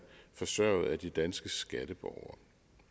forsørget af de danske skatteborgere